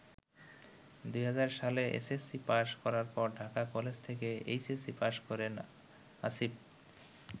২০০০ সালে এসএসসি পাস করার পর ঢাকা কলেজ থেকে এইচএসসি পাস করেন আসিফ।